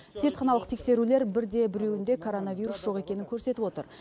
зертханалық тексерулер бірде біреуінде коронавирус жоқ екенін көрсетіп отыр